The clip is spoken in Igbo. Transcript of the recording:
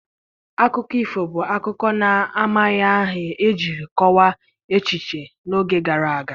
Akụkọ ifo bụ akụkọ na-amaghị aha ejiri kọwaa echiche n'oge gara aga.